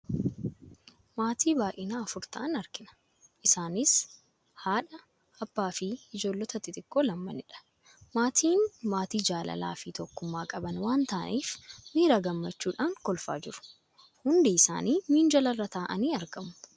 Maatii baay'inaa afura ta'an argina. Isaanis haadha, abbaa fi ijoollota xixiqqoo lamadha. Maatiin maatii jaalalaa fi tokkummaa qaban waan ta'aniif, miira gammachuudhaan kolfaa jiru. Hundi isaanii minjaala irra taa'anii argamu.